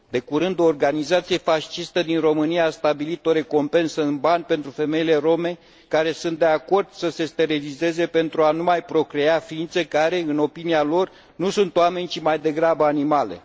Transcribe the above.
De curând, o organizație fascistă din România a stabilit o recompensă în bani pentru femeile rome care sunt de acord să se sterilizeze pentru a nu mai procrea ființe care, în opinia lor, nu sunt oameni, ci, mai degrabă, animale.